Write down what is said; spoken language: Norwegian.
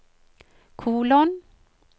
kolon